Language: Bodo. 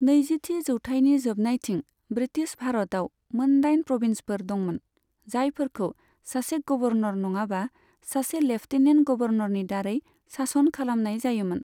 नैजिथि जौथाइनि जोबनायथिं, ब्रिटिश भारतआव मोन दाइन प्रभिन्सफोर दंमोन, जायफोरखौ सासे गबर्नर नङाबा सासे लेफ्टिनेन्ट गबर्नरनि दारै सासन खालामनाय जायोमोन।